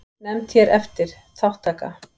Nefnd hér eftir: Þátttaka.